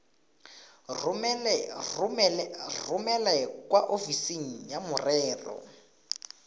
romele kwa ofising ya merero